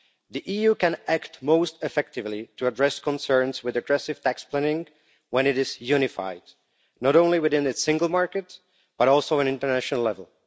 The EU can act most effectively to address concerns with aggressive tax planning when it is unified, not only within its single market but also at international level.